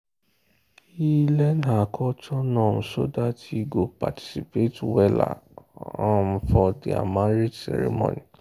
e learn her culture norms so that he go participate weller um for their marriage ceremony.